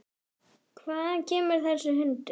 Hvaðan kemur þessi hundur?